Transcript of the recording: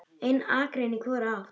Ein akrein í hvora átt.